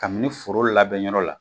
Kabini foro labɛn yɔrɔ la